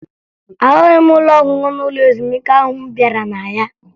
Ahụghị m ụlọ ọṅụṅụ n'ụlọ ezumike ahụ m bịara na ya